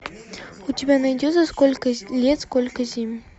у тебя найдется сколько лет сколько зим